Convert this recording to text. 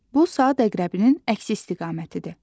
Bu saat əqrəbinin əksi istiqamətidir.